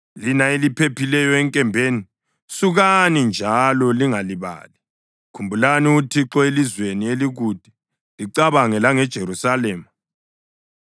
Lina eliphephileyo enkembeni, sukani njalo lingalibali! Khumbulani uThixo elizweni elikude, licabange langeJerusalema.”